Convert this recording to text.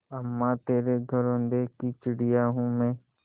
अम्मा तेरे घरौंदे की चिड़िया हूँ मैं